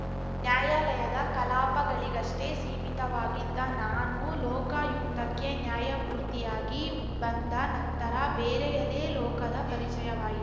ನ್ಯಾಯಾಲಯದ ಕಲಾಪಗಳಿಗಷ್ಟೇ ಸೀಮಿತವಾಗಿದ್ದ ನಾನು ಲೋಕಾಯುಕ್ತಕ್ಕೆ ನ್ಯಾಯಮೂರ್ತಿಯಾಗಿ ಬಂದ ನಂತರ ಬೇರೆಯದೇ ಲೋಕದ ಪರಿಚಯವಾಯಿ